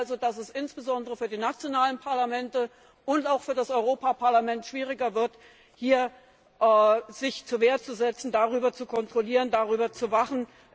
Das heißt also, dass es insbesondere für die nationalen Parlamente und auch für das Europäische Parlament schwieriger wird, sich hier zur Wehr zu setzen, sie zu kontrollieren, darüber zu wachen.